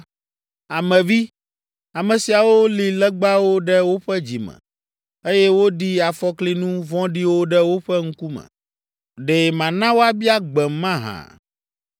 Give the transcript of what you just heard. “Ame vi, ame siawo li legbawo ɖe woƒe dzi me, eye woɖi afɔklinu vɔ̃ɖiwo ɖe woƒe ŋkume. Ɖe mana woabia gbem mahã?